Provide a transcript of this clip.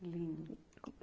Lindo.